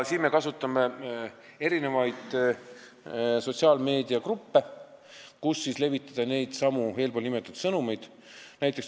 Me kasutame erinevaid sotsiaalmeediagruppe, et neid eespool nimetatud sõnumeid levitada.